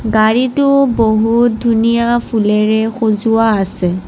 গাড়ীটো বহুত ধুনীয়া ফুলেৰে সজোৱা আছে।